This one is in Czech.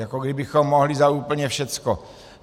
Jako kdybychom mohli za úplně všechno.